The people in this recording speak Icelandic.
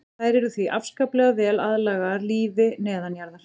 Þær eru því afskaplega vel aðlagaðar lífi neðanjarðar.